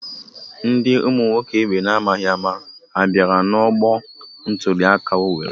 Ndị ụmụoma ha bịara n'ọgbọ ntụliaka Owerri?